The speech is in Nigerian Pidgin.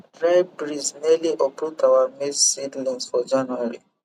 dry breeze nearly uproot our maize seedlings for january